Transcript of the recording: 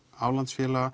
aflandsfélaga